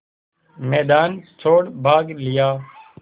मैदान छोड़ भाग लिया